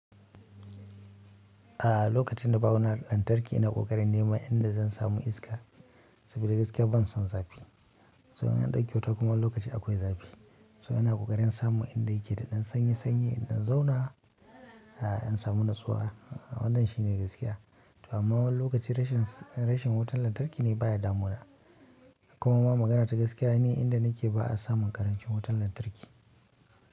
A'a lokacin da babu na lantarki ina ƙoƙarin neman inda zan samu iska saboda gaskiya ban son zafi. So in an ɗauki wuta kuma wani lokaci akwai zafi. So ina ƙoƙarin samun inda yake da ɗan sanye sanye, inda zan zauna, a'a in samu natsuwa, a'a wannan shi ne gaskiya. Amma wani lokaci rashin, rashin wutar lantarki baya damuna. Kuma magana ta gaskiya ni inda nake ba a samun ƙarancin wutar lantarki.